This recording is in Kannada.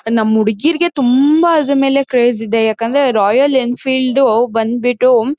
ನಮ್ ಹುಡ್ಗಿರ್ಗೆ ತುಂಬಾ ಆದ್ರೂ ಮೇಲೆ ಕ್ರೇಜ್ ಇದೆ ಯಾಕಂದ್ರೆ ರಾಯಲ್ ಎಂಫಿಈಲ್ಡ್ ಡು ಬಂದ್ಬಿಟು.